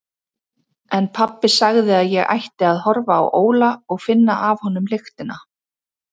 En pabbi sagði að ég ætti að horfa á Óla og finna af honum lyktina.